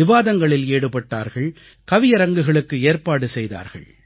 விவாதங்களில் ஈடுபட்டார்கள் கவியரங்குகளுக்கு ஏற்பாடு செய்தார்கள்